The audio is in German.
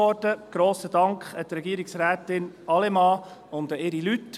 Einen grossen Dank an Regierungsrätin Allemann und an ihre Leute.